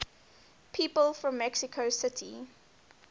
people from mexico city